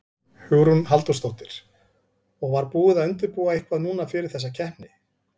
Hugrún Halldórsdóttir: Og var búið að undirbúa eitthvað núna fyrir þessa keppni?